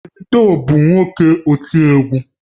Davido bu nwoke oti egwu